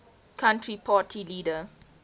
country party leader